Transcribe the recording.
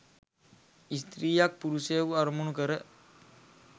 ස්ත්‍රියක් පුරුෂයකු අරමුණු කර